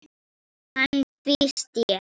Hann tvísté.